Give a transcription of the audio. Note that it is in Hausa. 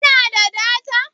Ka na da data?